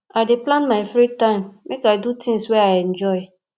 i dey plan my free time make i do things wey i enjoy